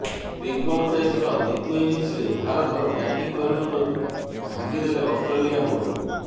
pink ball ଟେଷ୍ଟର ଦ୍ୱିତୀୟ ଇନିଂସରେ ଭାରତର ବ୍ୟାଟିଂ ମେରୁଦଣ୍ଡକୁ ଭାଙ୍ଗି ଦେଲେ ଅଷ୍ଟ୍ରେଲିଆ ବୋଲର